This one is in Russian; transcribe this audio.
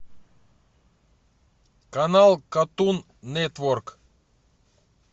канал картун нетворк